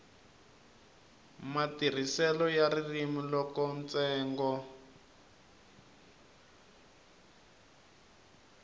matirhiselo ya ririmi loko ntsengo